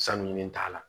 Sanu ɲini t'a la